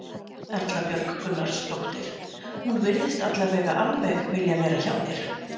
Erla Björg Gunnarsdóttir: Hún virðist allavega alveg vilja vera hjá þér?